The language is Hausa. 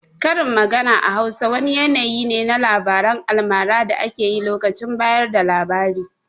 Karin magana a Hausa wani yanayi ne na labaran almara da ake yi lokacin bayar da labari.